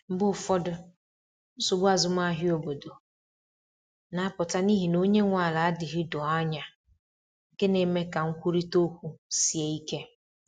Mgbe ụfọdụ, nsogbu azụmahịa obodo na-apụta n’ihi na onye nwe ala adịghị doo anya, nke na-eme ka nkwurịta okwu sie ike.